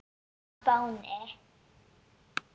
á Spáni.